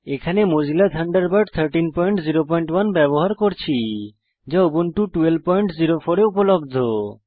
এখানে Mozilla Thunderbird 1301 ব্যবহার করছি যা উবুন্টু 1204 এ উপলব্ধ